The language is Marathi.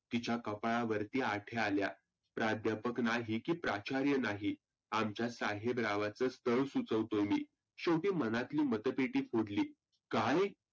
तिच्या कपाळावरती आठ्या आल्या. प्राध्यापक नाही की प्राचार्य नाही. आमच्या साहेबरावाचं स्थळ सुचवतोय मी. शेवटी मनातली मतपेटी फुटली. काय?